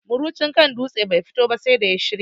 Murucin kan dutse bai fito ba sai da ya shirya